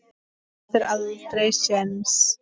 Þú áttir aldrei séns